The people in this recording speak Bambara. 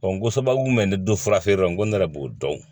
n ko sababu mun bɛ ne don fura feere yɔrɔ n ko ne yɛrɛ b'o dɔn